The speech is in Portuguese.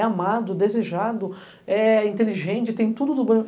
É amado, desejado, é inteligente, tem tudo do bom.